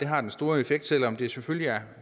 har den store effekt selv om det selvfølgelig er